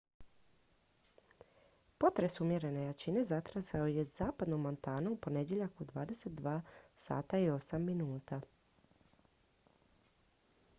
potres umjerene jačine zatresao je zapadnu montanu u ponedjeljak u 22:08 h